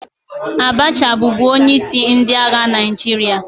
Abacha bụbu onyeisi ndị agha Naijiria